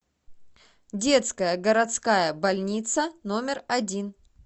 детская городская больница номер один